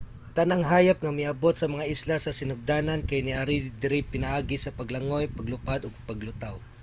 tanang hayop nga miabot sa mga isla sa sinugdanan kay niari diri pinaagi sa paglangoy paglupad o paglutaw